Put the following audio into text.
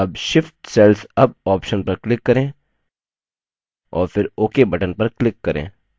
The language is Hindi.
अब shift cells up option पर click करें और फिर ok button पर click करें